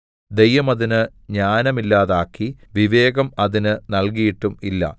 ദൈവം അതിന് ജ്ഞാനമില്ലാതാക്കി വിവേകം അതിന് നല്കിയിട്ടും ഇല്ല